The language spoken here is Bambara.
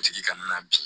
Tigi kana na bin